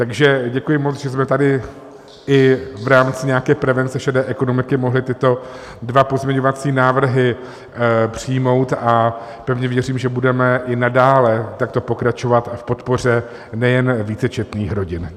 Takže děkuji moc, že jsme tady i v rámci nějaké prevence šedé ekonomiky mohli tyto dva pozměňovací návrhy přijmout, a pevně věřím, že budeme i nadále takto pokračovat v podpoře nejen vícečetných rodin.